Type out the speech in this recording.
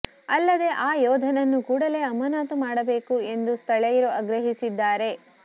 ಅಲ್ಲದೆ ಆ ಯೋಧನನ್ನು ಕೂಡಲೇ ಅಮಾನತು ಮಾಡಬೇಕು ಎಂದು ಸ್ಥಳೀಯರು ಆಗ್ರಹಿಸಿದ್ದಾರೆ